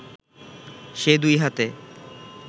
সে দুই হাতে